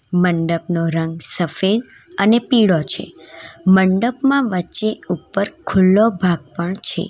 મંડપનો રંગ સફેદ અને પીળો છે મંડપમાં વચ્ચે ઉપર ખુલ્લો ભાગ પણ છે.